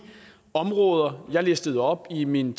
områder jeg tidligere listede op i min